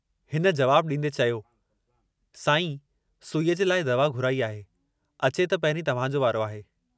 हिन जवाबु ॾींदे चयो, साईं सुईअ जे लाइ दवा घुराई आहे, अचे त पहिरीं तव्हांजो वारो आहे।